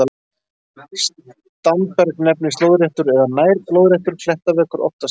Standberg nefnist lóðréttur eða nær-lóðréttur klettaveggur, oftast við sjó.